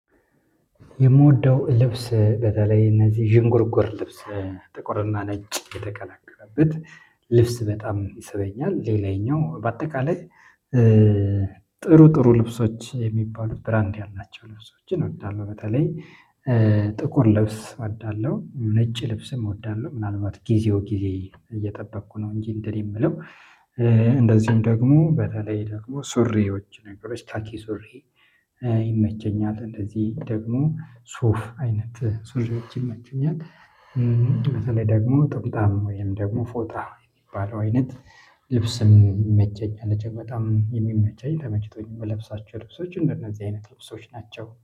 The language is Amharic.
የምወደው ልብስ በተለይ እነዚህ ዥንጉርጉር ልብስ ጥቁርና ነጭ የተቀላቀለበት ልብስ በጣም ይስበኛል። ሌላኛው በአጠቃላይ ጥሩ ጥሩ ልብሶች የሚባሉ ብራንድ ያላቸው ልብሶችን እወዳለሁ በተለይ ጥቁር ልብስ እወዳለሁ። ነጭ ልብስም እወዳለሁ ምናልባት ጊዜው ጊዜ እየጠበቅኩ ነው እንጂ እንደኔ የምለው እንደዚሁም ደግሞ በተለይ ደግሞ ሱሪዎች ነገሮች ካኪ ሱሪ ይመቸኛል እንደዚህ ደግሞ ሱፍ አይነት ሱፍ ይመችኛል። በተለይ ደግሞ ጥምጣም ወይም ደግሞ ፎጣ የሚባለው አይነት ልብስን ይመቸኛል እጅግ በጣም የሚመቸኝ ተመችቶኝ የምለብሳችሁ ልብሶች እንደነዚህ አይነት ልብሶች ናቸው